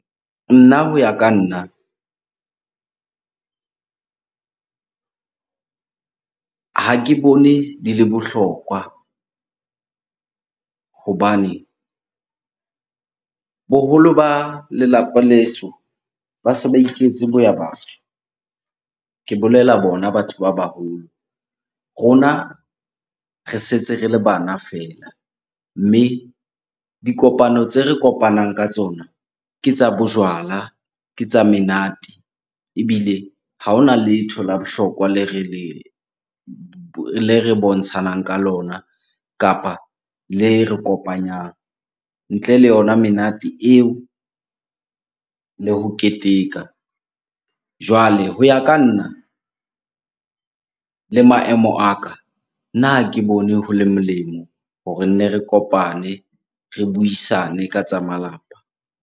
Nna ho ya ka nna, ha ke bone di le bohlokwa hobane boholo ba lelapa leso ba se ba iketse boyabatho, ke bolela bona batho ba baholo. Rona re setse re le bana feela, mme dikopano tse re kopanang ka tsona ke tsa bojwala, ke tsa menate ebile ha hona letho la bohlokwa le re le le re bontshanang ka lona kapa le re kopanyang ntle le yona menate eo le ho keteka. Jwale ho ya ka nna le maemo a ka, nna ha ke bone ho le molemo hore nne re kopane, re buisane ka tsa malapa.